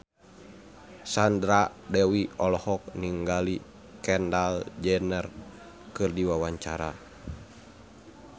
Sandra Dewi olohok ningali Kendall Jenner keur diwawancara